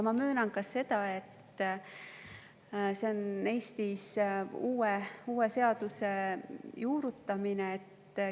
Ma möönan ka seda, et see on Eestis uue seaduse juurutamine.